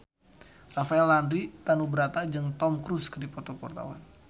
Rafael Landry Tanubrata jeung Tom Cruise keur dipoto ku wartawan